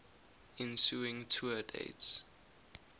ensuing tour dates